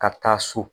Ka taa so